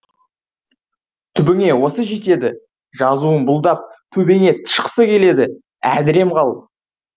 түбіңе осы жетеді жазуын бұлдап төбеңе тышқысы келеді әдірем қал